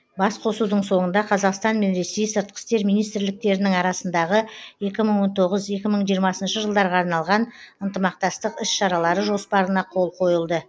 басқосудың соңында қазақстан мен ресей сыртқы істер министрліктерінің арасындағы екі мың он тоғыз екі мың жиырмасыншы жылдарға арналған ынтымақтастық іс шаралары жоспарына қол қойылды